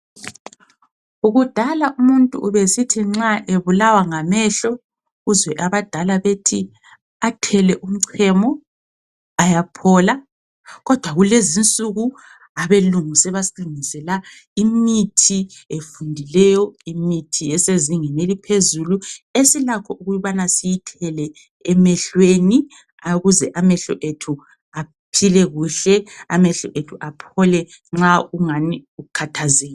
Kudala umuntu ubesithi nxa ebulawa ngamehlo uzwe abadala bethi athele umchemo ayaphola. Kodwa kulezinsuku abelungu sebasilungisela imithi efundileyo, imithi esezingeni eliphezulu esilakho ukubani siyithele emehlweni ukuze amehlo ethu aphile kuhle, amehlo ethu aphole nxa kungani ukhathazekile.